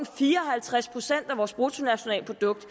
fire og halvtreds procent af vores bruttonationalprodukt